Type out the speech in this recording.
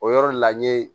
O yɔrɔ la n ye